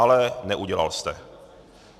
Ale neudělal jste.